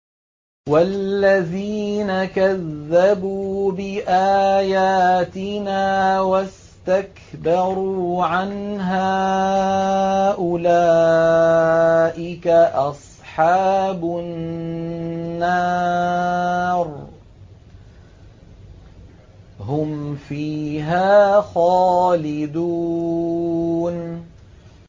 وَالَّذِينَ كَذَّبُوا بِآيَاتِنَا وَاسْتَكْبَرُوا عَنْهَا أُولَٰئِكَ أَصْحَابُ النَّارِ ۖ هُمْ فِيهَا خَالِدُونَ